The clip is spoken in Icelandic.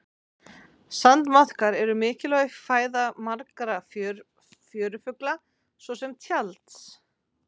Sandmaðkar eru mikilvæg fæða margra fjörufugla svo sem tjalds.